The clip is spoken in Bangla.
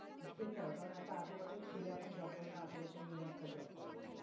সেটাই কারণ একটা আঠারো বছরের ছেলে এখন job করে না আঠেরো বছরের মেয়ে একটা job করে বলছে।